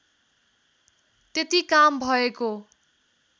त्यति काम भएको